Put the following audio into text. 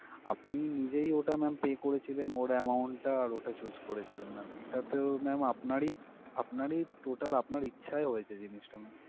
আপনি নিজেই ওটা ma'am pay করেছিলেন ওর amount টা আর ওটা choose করেছিলেন ma'am এটা তো ma'am আপনারই আপনারই total ইচ্ছায় হয়েছে জিনিসটা ma'am ।